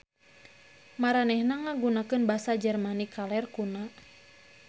Maranehna ngagunakeun basa Jermanik Kaler kuna.